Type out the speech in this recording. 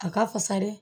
A ka fisa dɛ